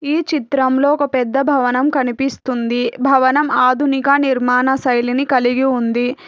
ఈ చిత్రంలో ఒక పెద్ద భవనం కనిపిస్తుంది భవనం ఆధునిక నిర్మాణ సైలిని కలిగి ఉంది.